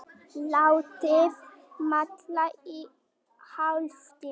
Látið malla í hálftíma.